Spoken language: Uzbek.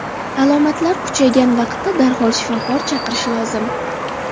Alomatlar kuchaygan vaqtda darhol shifokor chaqirish lozim.